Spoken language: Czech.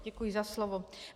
Děkuji za slovo.